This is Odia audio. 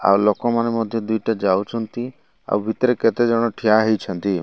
ଆଉ ଲୋକମାନେ ମଧ୍ୟ ଦି ଟା ଯାଉଚନ୍ତି ଆଉ ଭିତରେ କେତେ ଜଣ ଠିଆ ହେଇଛନ୍ତି।